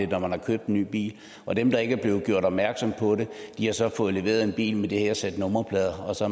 når man har købt en ny bil og dem der ikke er blevet gjort opmærksomme på det har så fået leveret en bil med det her sæt nummerplader og så